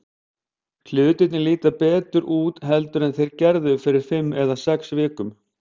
Hlutirnir líta betur út heldur en þeir gerðu fyrir fimm eða sex vikum.